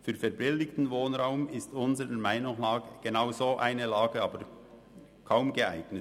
Für verbilligten Wohnraum ist unseres Erachtens aber genau eine solche Lage kaum geeignet.